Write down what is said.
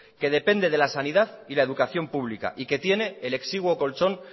que depende de la sanidad y la educación pública y que tiene el exiguo colchón